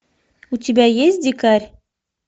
у тебя есть дикарь